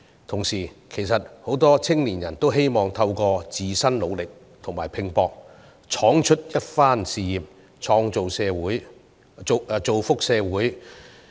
同時，很多青年人希望透過自身努力和拼搏闖出一番事業，造福社會。